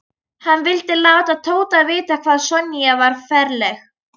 Hann vildi láta Tóta vita hvað Sonja var ferleg.